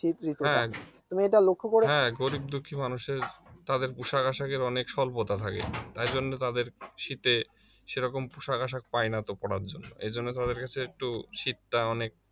হ্যাঁ, গরীব দুঃখী মানুষের তাদের পোশাক আশাকের অনেক সল্পতা থাকে তাই জন্য তাদের শীতে সেরকম পোশাক আশাক পায় না তো পড়ার জন্য এজন্য তাদের কাছে একটু শীত টা অনেক